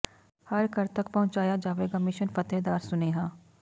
ਹਰ ਘਰ ਤਕ ਪਹੁੰਚਾਇਆ ਜਾਵੇਗਾ ਮਿਸ਼ਨ ਫ਼ਤਹਿ ਦਾ ਸੁਨੇਹਾ